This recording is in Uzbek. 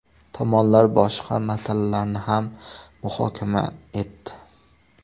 Tomonlar boshqa masalalarni ham muhokama etdi.